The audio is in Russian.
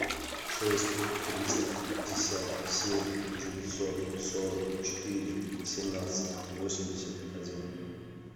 шесть триста пятьдесят семь девятьсот сорок четыре семнадцать восемьдесят один